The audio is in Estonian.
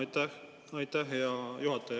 Aitäh, hea juhataja!